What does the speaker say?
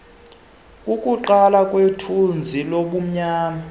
kukuqala kwethunzi lobumnyama